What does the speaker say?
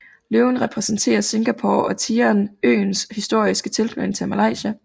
Løven repræsenterer Singapore og tigeren øens historiske tilknytning til Malaysia